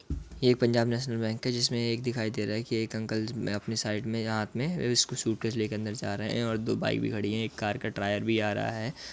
ये Punjab national bank है जिसमें ये दिखाई दे रहा है कि एक अंकल अपने साइड में या हाथ में सूटकेस लेकर अंदर जा रहे हैं और दो बाइक भी खड़ी हैं और एक कार का टायर भी आ रहा है।